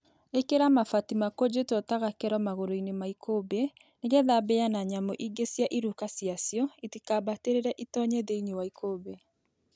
Ikĩra mabati makunjĩtwo ta gakero magũrũ -inĩ ma ikũmbĩ nĩgetha mbĩya na nyamũ ingĩ cia iruka ciacio itikambatĩrĩre itonye thĩinĩ wa ikũmbĩ